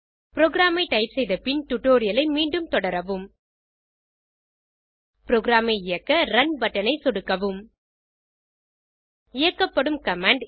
program ஐ type செய்த பின் டுடோரியலை மீண்டும் தொடரவும் புரோகிராம் ஐ இயக்க ரன் பட்டன் ஐ சொடுக்குவோம் இயக்கப்படும் கமாண்ட்